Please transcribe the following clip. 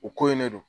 U ko in ne don